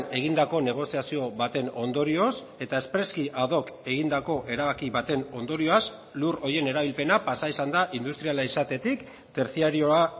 egindako negoziazio baten ondorioz eta espreski ad hoc egindako erabaki baten ondorioz lur horien erabilpena pasa izan da industriala izatetik tertziarioa